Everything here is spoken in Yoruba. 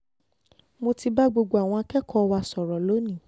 mo ti bá gbogbo àwọn akẹ́kọ̀ọ́ wa sọ̀rọ̀ lónìí